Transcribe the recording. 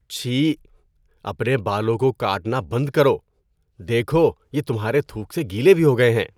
چھی! اپنے بالوں کو کاٹنا بند کرو۔ دیکھو، یہ تمہارے تھوک سے گیلے بھی ہو گئے ہیں۔